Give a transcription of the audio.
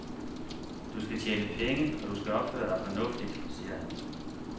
Du skal tjene penge, og du skal opføre dig fornuftigt, siger han.